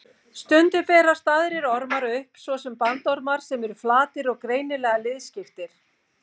Stundum berast aðrir ormar upp, svo sem bandormar sem eru flatir og greinilega liðskiptir.